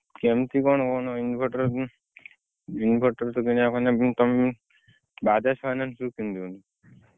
କେମିତି କଣ ମାନେ inverter, inverter ତ କିଣିବା ମାନେ Bajaj finance ରୁ କିଣି ଦିଅନ୍ତୁ।